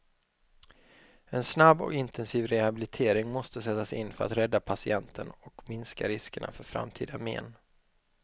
En snabb och intensiv rehabilitering måste sättas in för att rädda patienten och minska riskerna för framtida men.